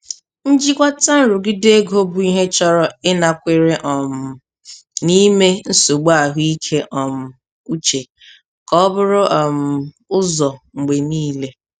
Njikwata nrụgide ego bụ ihe chọrọ ịnakwere um na ime nsogbu ahụike um uche ka o buru um ụzọ mgbe niile.